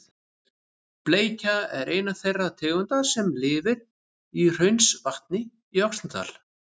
Bleikja er ein þeirra tegunda sem lifir í Hraunsvatni í Öxnadal.